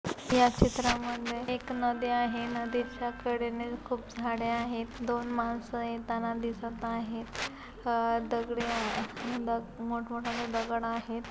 या चित्रामध्ये एक नदी आहे नदीच्या कडे ने खूप झाडे आहे दोन माणस येताना दिसत आहेत अ दगडे अ मोठमोठाल्ले दगड आहेत.